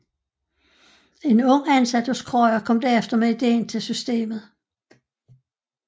En ung ansat hos Krøyer kom derefter med ideen til systemet